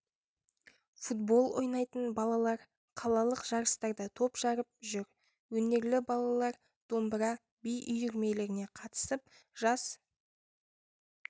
футбол ойнайтын балалар қалалық жарыстарда топ жарып жүр өнерлі балалар домбыра би үйірмелеріне қатысып жас